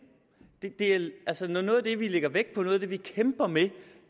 når noget af det vi lægger vægt på når noget af det vi kæmper med